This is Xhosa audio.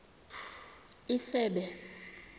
isebe